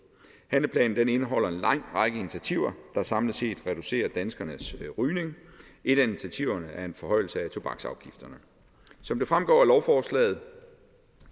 handleplanen indeholder en lang række initiativer der samlet set reducerer danskernes rygning et af initiativerne er en forhøjelse af tobaksafgifterne som det fremgår af lovforslaget